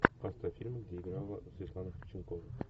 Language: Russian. поставь фильм где играла светлана ходченкова